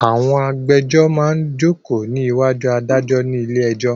Àwọn agbéjọ́rò máa jókòó ní ìwájú adájọ́ ní ilé ẹjọ́.